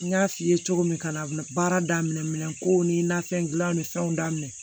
N y'a f'i ye cogo min ka na baara daminɛ ko ni nafɛn dilanw ni fɛnw daminɛ